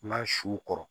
N ka su kɔrɔ